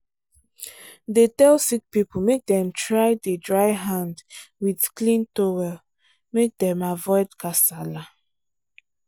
dey tell sick people make dem try dey dry hand with clean towel make dem avoid kasala.